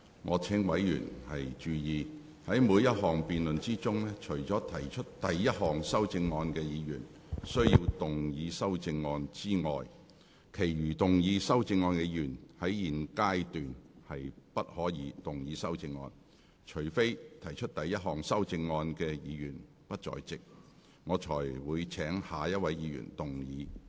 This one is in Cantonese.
我請委員注意，在每項辯論中，除了提出第一項修正案的議員須動議修正案外，其餘提出修正案的議員，在現階段不可動議修正案。除非提出第一項修正案的議員不在席，我才會請下一位議員動議修正案。